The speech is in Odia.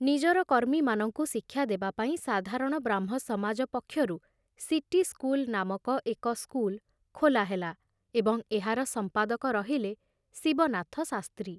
ନିଜର କର୍ମୀମାନଙ୍କୁ ଶିକ୍ଷା ଦେବା ପାଇଁ ସାଧାରଣ ବ୍ରାହ୍ମ ସମାଜ ପକ୍ଷରୁ ସିଟି ସ୍କୁଲ ନାମକ ଏକ ସ୍କୁଲ ଖୋଲା ହେଲା ଏବଂ ଏହାର ସମ୍ପାଦକ ରହିଲେ ଶିବନାଥ ଶାସ୍ତ୍ରୀ।